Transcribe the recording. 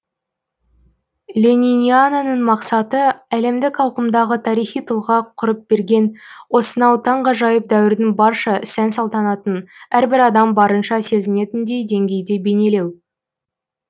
лениниананың мақсаты әлемдік ауқымдағы тарихи тұлға құрып берген осынау таңғажайып дәуірдің барша сән салтанатын әрбір адам барынша сезінетіндей деңгейде бейнелеу